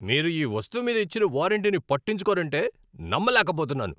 మీరు ఈ వస్తువు మీద ఇచ్చిన వారంటీని పట్టించుకోరంటే నమ్మలేకపోతున్నాను.